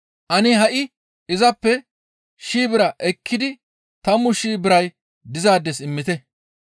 « ‹Ane ha7i izappe shii bira ekkidi tammu shii biray dizaades immite.